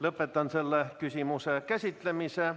Lõpetan selle küsimuse käsitlemise.